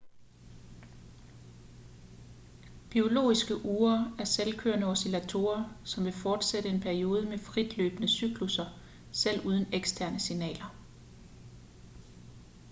biologiske ure er selvkørende oscillatorer som vil fortsætte en periode med fritløbende cyklusser selv uden eksterne signaler